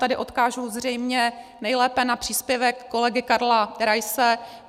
Tady odkážu zřejmě nejlépe na příspěvek kolegy Karla Raise.